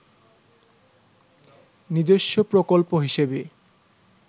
নিজস্ব প্রকল্প হিসেবে